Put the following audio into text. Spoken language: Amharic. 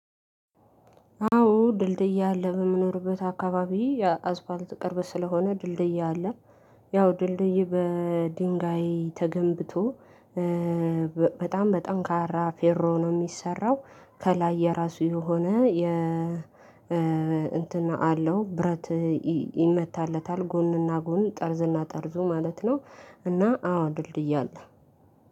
አዎ ድልድይ አለ በምኖርበት አካባቢ የአስፋልት ቅርብ ስለሆነ ድልድይ አለ፤ ያው ድልድይ በድንጋይ ተገንብቶ በጣም በጠንካራ ፌሮ ነው የሚሰራው፤ ከላይ የራሱ የሆነ የ እንትን አለው፤ ብረት ይመታለታል ጎንና ጎን ጠርዝና ጠርዙ ማለት ነው እና አዎ ድልድይ አለ።